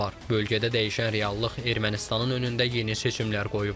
Bölgədə dəyişən reallıq Ermənistanın önündə yeni seçimlər qoyub.